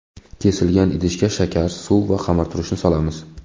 Kesilgan idishga shakar, suv va xamirturushni solamiz.